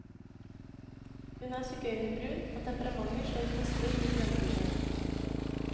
Hun er sigøynerbrun og temperamentet slår gnister i grønnbrune øyne.